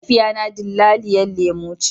Mahaifiya na dillaliyan lemu ne.